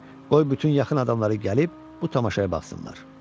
Qoy bütün yaxın adamları gəlib bu tamaşaya baxsınlar.